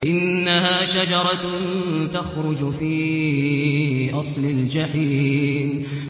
إِنَّهَا شَجَرَةٌ تَخْرُجُ فِي أَصْلِ الْجَحِيمِ